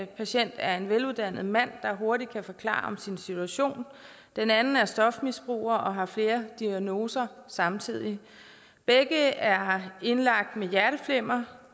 patient er en veluddannet mand der hurtigt kan forklare om sin situation den anden er stofmisbruger og har flere diagnoser samtidig begge er indlagt med hjerteflimmer